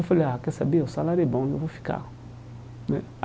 Eu falei, ah, quer saber, o salário é bom, então eu vou ficar né.